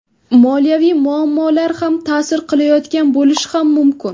Moliyaviy muammolar ham ta’sir qilayotgan bo‘lishi ham mumkin.